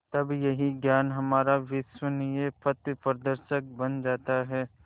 तब यही ज्ञान हमारा विश्वसनीय पथप्रदर्शक बन जाता है